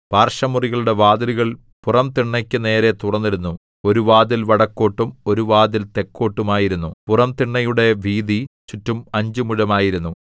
പാർശ്വമുറികളുടെ വാതിലുകൾ പുറംതിണ്ണയ്ക്കു നേരെ തുറന്നിരുന്നു ഒരു വാതിൽ വടക്കോട്ടും ഒരു വാതിൽ തെക്കോട്ടും ആയിരുന്നു പുറംതിണ്ണയുടെ വീതി ചുറ്റും അഞ്ച് മുഴമായിരുന്നു